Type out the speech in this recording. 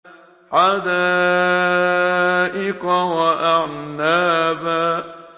حَدَائِقَ وَأَعْنَابًا